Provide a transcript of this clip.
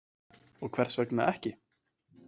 Og hvers vegna ekki?